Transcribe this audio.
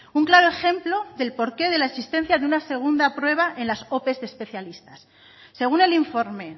un claro ejemplo del porqué de la existencia de una segunda prueba en las ope de especialistas según el informe